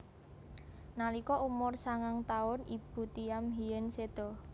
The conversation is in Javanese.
Nalika umur sangang taun ibu Thiam Hien séda